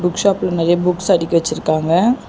Book ஷாப்ல நெறைய books அடுக்கி வச்சிருக்காங்க.